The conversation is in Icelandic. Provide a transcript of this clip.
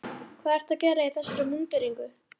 Hvað ertu að gera í þessari múnderingu?